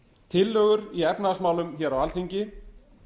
tillögur í efnahagsmálum hér á alþingi